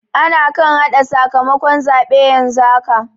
Ana kan haɗa sakamakon zaɓe yanzu haka.